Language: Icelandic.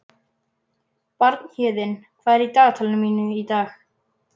Bjarnhéðinn, hvað er í dagatalinu mínu í dag?